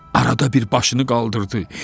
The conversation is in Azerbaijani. Arada bir başını qaldırdı.